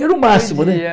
Era o máximo, né? Podia